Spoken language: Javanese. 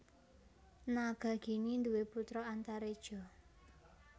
Nagagini duwé putra Antareja